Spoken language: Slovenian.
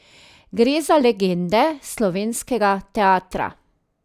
Gre za legende slovenskega teatra.